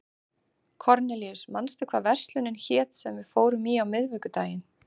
Kornelíus, manstu hvað verslunin hét sem við fórum í á miðvikudaginn?